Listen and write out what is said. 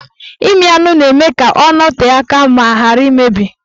Ịmị anụ na-eme ka ọ nọtee aka ma ghara imebi